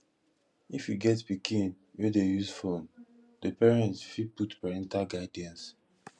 if you get pikin wey dey use phone di parent fit put parental guidance